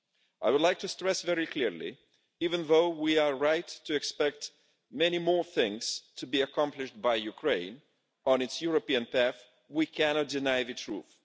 I would like to stress very clearly that, even though we are right to expect many more things to be accomplished by Ukraine on its European path, we cannot deny the truth.